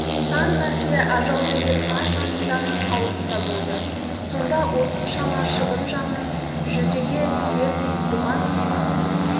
сан мәрте ажал деген аш арыстанның аузында болды сонда осыншама шыбын жанын жүлдеге тігердей бұған не